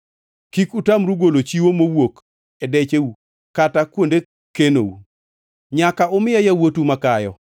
“Kik utamru golo chiwo mowuok e decheu kata kuonde kenou. “Nyaka umiya yawuotu makayo.